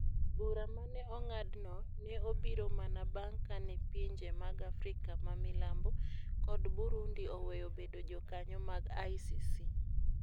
Bura ma ne ong'adno ne obiro mana bang ' kane pinje mag Afrika ma Milambo kod Burundi oweyo bedo jokanyo mag ICC.